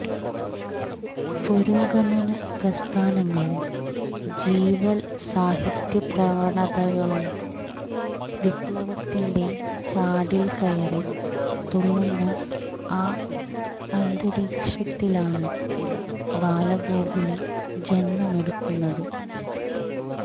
പുരോഗമന പ്രസ്ഥാനങ്ങളും ജീവല് സാഹിത്യപ്രവണതകളും വിപ്ലവത്തിന്റെ ചാടില് കയറി തുള്ളുന്ന ആ അന്തരീക്ഷത്തിലാണ് ബാലഗോകുലം ജന്മമെടുക്കുന്നത്